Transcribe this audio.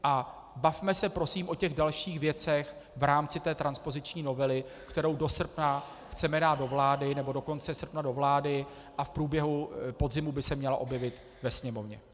A bavme se prosím o těch dalších věcech v rámci té transpoziční novely, kterou do srpna chceme dát do vlády, nebo do konce srpna do vlády, a v průběhu podzimu by se měla objevit ve Sněmovně.